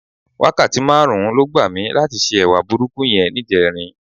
Wákàtí márùn-ún ló gbà mí láti se ẹwà burúkú yẹn níjẹrin.